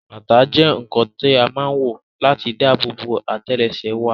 Bàtà jẹ́ ǹǹkan tí a má ǹ wọ̀ láti dáàbò bo àtẹ́lẹsẹ̀ wa